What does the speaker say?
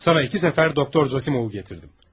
Sana iki səfər doktor Zosimovu gətirdim.